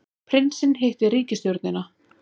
Prinsinn hittir ríkisstjórnina